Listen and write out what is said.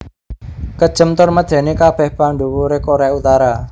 Kejem tur medeni kabeh pandhuwure Korea Utara